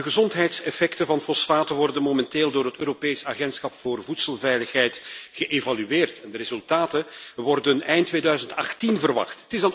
De gezondheidseffecten van fosfaten worden momenteel door het Europees agentschap voor voedselveiligheid geëvalueerd en de resultaten worden eind 2018 verwacht.